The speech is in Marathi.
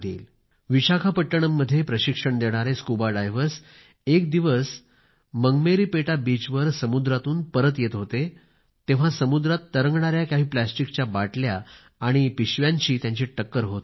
विशाखापट्टणम मध्ये गोताखोरीचे प्रशिक्षण देणारे स्कुबा डायव्हर्स एक दिवस मंगमेरीपेटा बीचवर समुद्रातून परत येत होते तेव्हा समुद्रात तरंगणाऱ्या काही प्लास्टिकच्या बाटल्या आणि पिशव्यांशी त्यांची टक्कर होत होती